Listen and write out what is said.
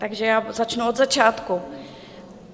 Takže já začnu od začátku.